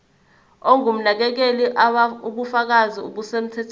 ongumnakekeli ubufakazi obusemthethweni